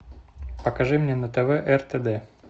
покажи мне на тв ртд